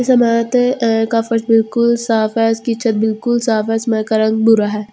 जमात अ का फर्श बिल्कुल साफ है उसकी छत्त बिल्कुल साफ है इसमे का रंग बुरा है ।